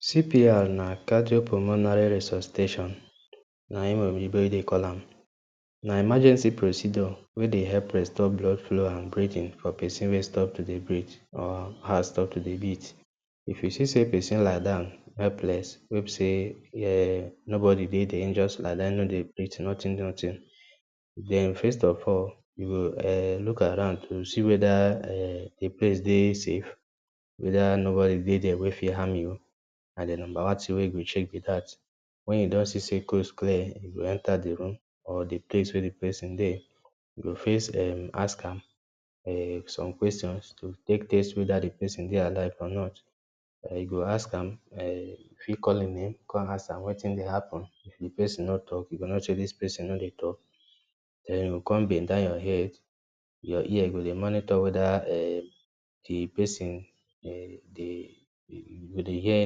CPR na cardiopulmonary Resuscitation na hin oyinbo Dey call am. Na emergency procedure weh dey help us stop restore blood flow and breathing for person wey stop to dey breathe or heart stop to dey beat. If you see say person lie down helpless, wey be say um nobody dey there hin just lie down no dey breathe, nothing, nothing. Then first of all, you um look around to see weda um d place dey safe. Weda nobody dey dey weh fee harm you. Na d numba one tin wey u go check b dat, wen u don see say coast clear u go enter d room or d place wey d person Dey, u go first um ask am um some questions to take test weda um d persin Dey alive or not, um u go ask am um u fi call hin name, con ask am wetin dey happen, if d persin no talk u go no say dis person no Dey talk, den u go con bend down your head your ear u go Dey monitor weda um d persin um u go Dey hear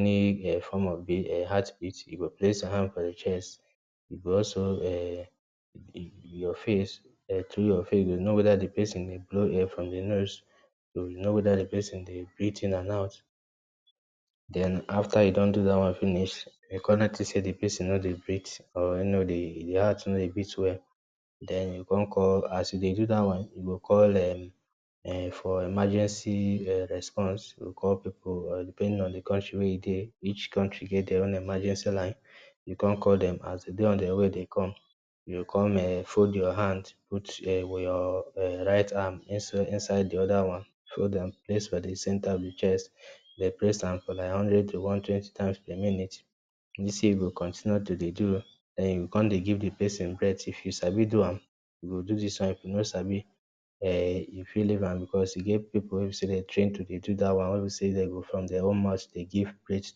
any form of bea um heart beat, u go place hin hand for your chest u go also um your face thru your face, u go know weda d persin Dey blow air from im nose, u go know weda d persin Dey breathe in and out den afta u don do dat one finish, u go con notice say d persin no Dey breathe, or hin no dey hin heart no Dey breath well, den u con call as u Dey do day one, u go call um um for emergency um response u go call people depending on d county wey u Dey each country get their own emergency line, u go con call dem, as dem Dey on their way Dey come, u go con um fold your hands, put your um right hand inside inside d oda one fold am place for d center of d chest den place am for like hundred to one twenty times per minute, dis way u go continue to Dey do um con dey give d persin breath if u sabi do am u go do dis one, if u no sabi, um u fit leave am cause e get pipu wey be say Dey train to Dey do dat one wey b say dem go from their own mouth Dey give breath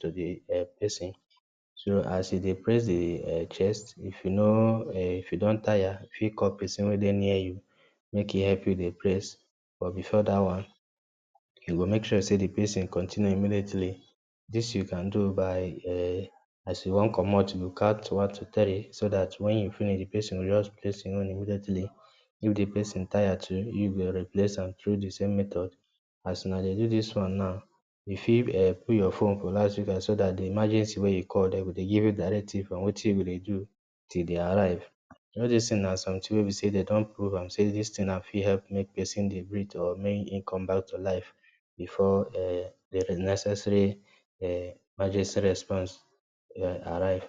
to d um persin, so as you Dey press d um chest, if u no um if you don tire u fit call persin wey Dey near u, make he help u Dey press buh before dat one u go make sure say d person continue immediately dis u can do by um as u wan commot u go count one to three so dat wen u finish d persin go just place hin own immediately, if d persin tire too u go replace am, thru dsame method as una Dey do dis one now, u fit um put your phone for loudspeaker so dat d emergency wey u call dem go Dey give u directives on Wetin u go Dey do till Dey arrive, all dis tin na something wey b say dem don prove am say tis tin e fit help make person Dey breathe or make him combeback to life before um d necessary um emergency response um arrive.